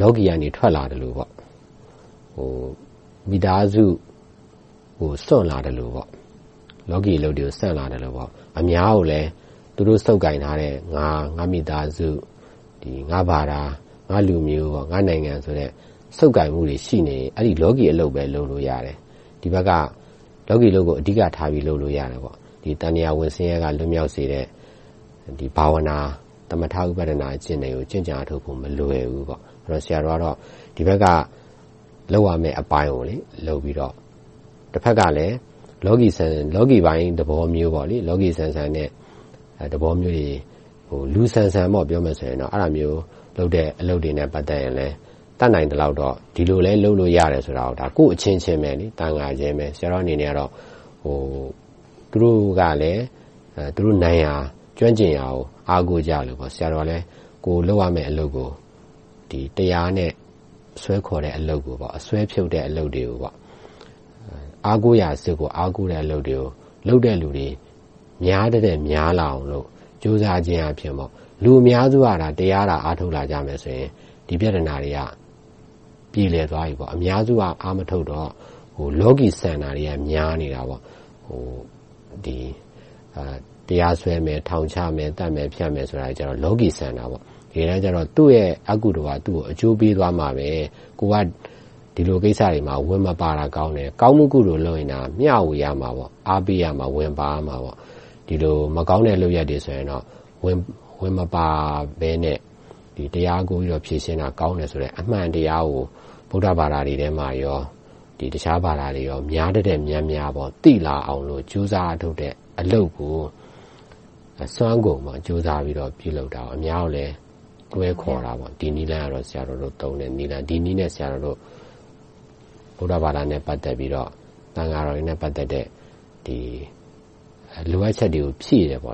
လောကီက ထွက်လာသလို၊ မိသားစုကို စွန့်လာသလို၊ အများကိုလည်း သူတို့ဆုပ်ကိုင်ထားတဲ့ ငါ၊ ငါ့မိသားစု၊ ငါ့ဘာသာ၊ ငါ့လူမျိုး၊ ငါ့နိုင်ငံဆိုတဲ့ ဆုပ်ကိုင်မှုတွေ ရှိနေရင် လောကီအလုပ်ပဲ လုပ်လို့ရတယ်။ ဒီဘက်က လောကီအလုပ်ကို အဓိကထား လုပ်လို့ရတယ်။ သံသရာဝဋ်ဆင်းရဲက လွတ်မြောက်စေတဲ့ ဘာဝါနာ၊ သမထဥပဌာန အကျင့်တွေကို ကျင့်ကြံအားထုတ်ဖို့ မလွယ်ဘူးပေါ့။ ဆိုတော့ ဆရာတော်ကတော့ ဒီဘက်က လုပ်ရမယ့်အပိုင်းကို လုပ်ပြီးတော့ တဘက်ကလဲ လောကီပိုင်းသဘောမျိုး လောကီဆန်ဆန်နဲ့ ပြောမယ်ဆို လူဆန်ဆန် အဲဒါမျိုးလုပ်တဲ့ အလုပ်တွေနဲ့ ပတ်သက်လို့တော့ တတ်နိုင်သမျှ ဒီလိုလဲ လုပ်လို့ရတယ်ဆိုတာကို ကိုယ့်အချင်းချင်း သံဃာအချင်းချင်းပဲ ဆရာတေ်ာအနေနဲ့ သူတို့ကလည်း သူတို့နိုင်ရာ၊ ကျွမ်းကျင်ရာကို အားကိုကြလို့ ဆရာတော်ကလည်း ကိုယ်လုပ်ရမယ့်အလုပ်ကို တရားနဲ့ ဆွဲခေါ်တဲ့အလုပ်ကို၊ အစွဲဖြုတ်တဲ့အလုပ်တွေကို၊ အားကိုးရာအစစ်ကို အားကိုးတဲ့အလုပ်တွေကို လုပ်တဲ့လူတွေ များသထက်များလာအောင် ကြိုးစားခြင်းအားဖြင့် လူအများစုက တရားသာ အားထုတ်လာကြမယ်ဆိုရင် ဒီပြဿနာတွေက ပြေလည်သွားပြီ။ အများစုက အားမထုတ်တော့ လောကီဆန်တာတွေကများနေတယ်။ တရားစွဲမယ်၊ ထောင်ချမယ်၊ သတ်မယ်ဖြတ်မယ်ဆိုတာတွေက လောကီဆန်တယ်။ တကယ်တမ်းကြတော့ သူ့ရဲ့ အကုသိုလ်က သူကိအကျိုးပေးသွားမှာ။ ကိုယ်က ဒီလိုကိစ္စတွေမှာ ဝင်မပါတာကောင်းတယ်။ ကောင်းမှုကုသိုလ်လုပ်ရင်တာ မျှဝေရမယ်။ အားပေးရမယ်။ ဝင်ပါရမယ်။ ဒီလိုမကောင်းတဲ့ လုပ်ရပ်တွေဆိုရင်တော့ ဝင်မပါဘဲနဲ့ တရားနဲ့ဖြေရှင်းတာ ကောင်းတယ်ဆိုတဲ့ အမှန်တရားကို ဗုဒ္ဓဘာသာထဲမှာနဲ့ တခြားဘာသာတွေထဲမှာ များသထက်များများ သိလာအောင် ကြိုးစားအားထုတ်တဲ့အလုပ်ကို အစွမ်းကုန် ကြိုးစားပြီးတော့ ပြုလုပ်ပြီး၊ အများကိုလည်း တွဲခေါ်တဲ့ နည်းလမ်းကတော့ ဆရာတော်တို့သုံးတဲ့ နည်းလမ်း။ ဒီနည်းနဲ့ ဆရာတော်တို့ ဗုဒ္ဓဘာသာနဲ့ ပတ်သက်ပြီးတော့ သံဃာတော်တွေနဲ့ ပတ်သက်တဲ့ လိုအပ်ချက်တွေကို ဖြည့်တယ်ပေါ့